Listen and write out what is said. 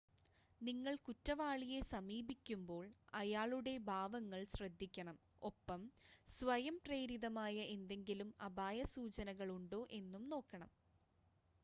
നിങ്ങൾ കുറ്റവാളിയെ സമീപിക്കുമ്പോൾ അയാളുടെ ഭാവങ്ങൾ ശ്രദ്ധിക്കണം ഒപ്പം സ്വയം പ്രേരിതമായ എന്തെങ്കിലും അപായ സൂചനകൾ ഉണ്ടോ എന്നും നോക്കണം